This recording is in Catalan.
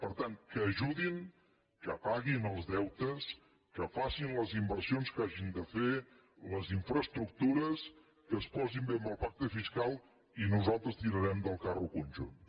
per tant que ajudin que paguin els deu·tes que facin les inversions que hagin de fer les infra·estructures que es posin bé amb el pacte fiscal i nos·altres tirarem del carro conjunt